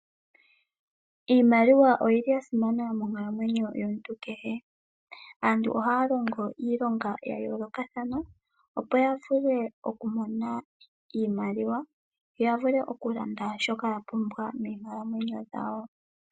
Iimaliwa oyili yasimana monkalamwenyo yomuntu kehe. Aantu ohaya longo iilonga yayoolokathana opo yavule okumona iimaliwa, yavule okulanda shoka yapumbwa moonkalamwenyo dhawo.